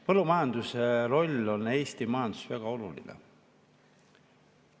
Põllumajanduse roll Eesti majanduses on väga oluline.